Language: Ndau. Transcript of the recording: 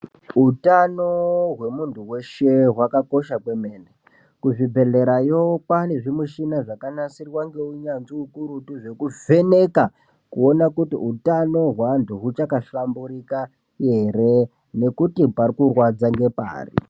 Utano hwemunhu weshe hwakakosha kwemene kuzvibhedhlerayo kwaane mushina dzakanasirwa ngeunyanzvi ukurutu zvekuvheneka kuona kuti utano weantu huchakahlamburika ere ngekuti parikurwadza ngepari